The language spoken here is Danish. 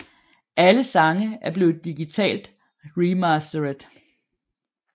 Alle sange er blevet digitalt remastered